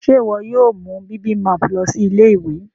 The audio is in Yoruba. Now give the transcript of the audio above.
Ṣe iwọ yóò mú bibimpap lọ sí Ilé-ìwé?